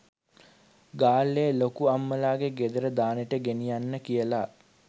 ගාල්ලේ ලොකු අම්මලාගේ ගෙදර දානෙට ගෙනියන්න කියලා